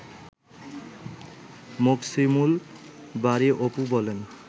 মোকসিমুল বারী অপু বলেন